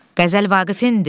Qəzəl Vaqifindir?